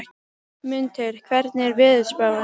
Mundheiður, hvernig er veðurspáin?